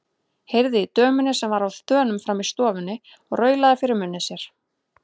Heyrði í dömunni sem var á þönum frammi í stofunni og raulaði fyrir munni sér.